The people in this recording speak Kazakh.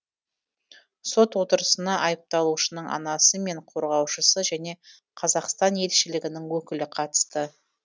сот отырысына айыпталушының анасы мен қорғаушысы және қазақстан елшілігінің өкілі қатысты